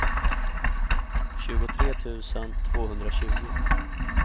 tjugotre tusen tvåhundratjugo